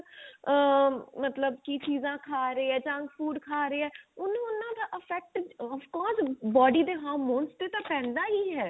ਆਂ ਮਤਲਬ ਕੀ ਚੀਜ਼ਾਂ ਖਾ ਰਹੇ ਹੈ junk food ਖਾ ਰਹੇ ਹੈ ਉਹਨੂੰ ਉਹਨਾਂ ਦਾ effect of course body ਦੇ hormones ਤੇ ਤਾਂ ਪੈਦਾ ਹੀ ਹੈ